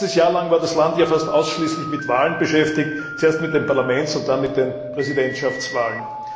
Ein ganzes Jahr lang war das Land ja fast ausschließlich mit Wahlen beschäftigt, zuerst mit den Parlamentswahlen, dann mit den Präsidentschaftswahlen.